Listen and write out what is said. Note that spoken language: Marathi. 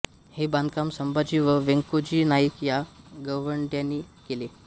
हे बांधकाम संभाजी व व्यंकोजी नाईक या गवंड्यांनी केले